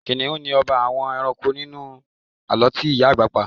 kìnnìún ni ọba àwọn ẹranko nínú àlọ́ tí ìyá àgbà pa